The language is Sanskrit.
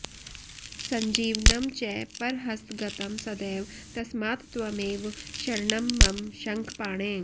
सञ्जीवनं च परहस्तगतं सदैव तस्मात्त्वमेव शरणं मम शङ्खपाणे